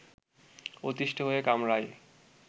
অতিষ্ঠ হয়ে কামড়ায়